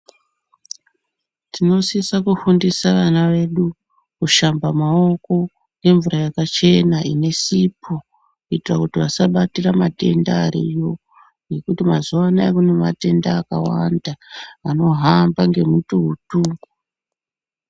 Tino sisa kufundisa vana vedu kushamba maoko ngemvura yakachena ine sipo kuitira vasa batira matenda ariyo ngekuti mazuva anaya kune matenda akawanda ano hamba nge mututu .